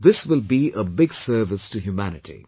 This will be a big service to humanity